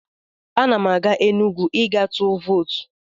Ana m aga Enugwu ị gaa tụ vootu.